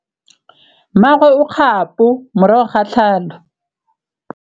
Mmagwe o kgapô morago ga tlhalô.